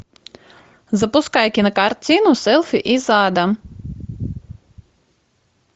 запускай кинокартину селфи из ада